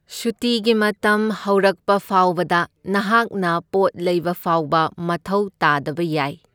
ꯁꯨꯇꯤꯒꯤ ꯃꯇꯝ ꯍꯧꯔꯛꯄ ꯐꯥꯎꯕꯗ, ꯅꯍꯥꯛꯅ ꯄꯣꯠ ꯂꯩꯕ ꯐꯥꯎꯕ ꯃꯊꯧ ꯇꯥꯗꯕ ꯌꯥꯏ꯫